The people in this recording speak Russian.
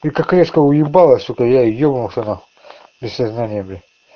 ты так резко уебала сука я и ебнулся нахуй без сознания бля